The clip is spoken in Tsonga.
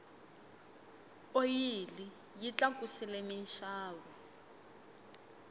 oyili yi tlakusile minxavo